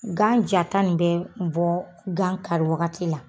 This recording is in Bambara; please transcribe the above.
Gan jata nin bɛ bɔɔ gan kari wagati la